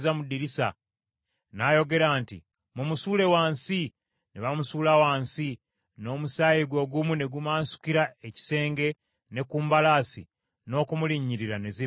N’ayogera nti, “Mumusuule wansi!” Ne bamusuula wansi, n’omusaayi gwe ogumu ne gumansukira ekisenge ne ku mbalaasi, n’okumulinyirira ne zimulinnyirira.